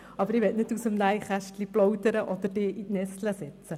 Aber ich will nicht aus dem Nähkästchen plaudern oder Sie in die Nesseln setzten.